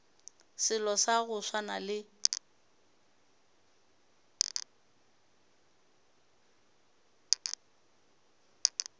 selo sa go swana le